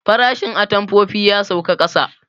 Farashin atamfofin ya sauka ƙasa